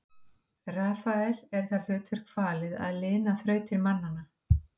rafael er það hlutverk falið að lina þrautir mannanna